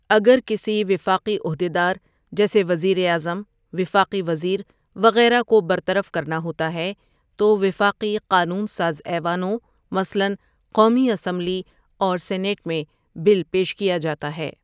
اگر کسی وفاقی عہدیدار جیسے وزیر اعظم، وفاقی وزیر، وغیرہ کو برطرف کرنا ہوتا ہے تو وفاقی قانون ساز ایوانوں مثلا قومی اسمبلی اور سینیٹ میں بل پیش کیا جاتا ہے۔